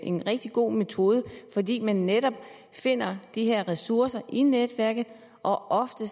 en rigtig god metode fordi man netop finder de her ressourcer i netværket og ofte